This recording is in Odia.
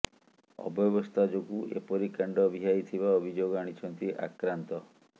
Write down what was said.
ଅବ୍ୟବସ୍ଥା ଯୋଗୁଁ ଏପରି କାଣ୍ଡ ଭିଆଇ ଥିବା ଅଭିଯୋଗ ଆଣିଛନ୍ତି ଆକ୍ରାନ୍ତ